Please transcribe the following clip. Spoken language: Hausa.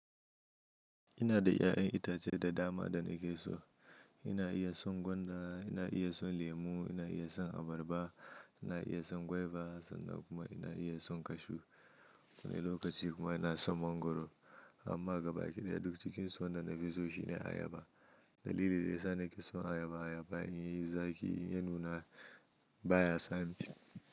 Ina da ya'yan itace da dama da na ke so. Ina iya son gwanda, ina iya son lemu, ina iya son abarba, ina iya son guava sannan kuma ina iya son cashew. Wani lokaci kuma ina son mangwaro. Amma gaba ɗaya duk cikin su wanda na fi so shi ne ayaba. Dalili da ya sa na ke son ayaba ayaba in yayi zaki ya nuna baya sani.